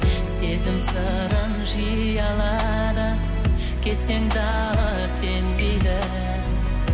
сезім сырын жиі алады кетсең дағы сенбейді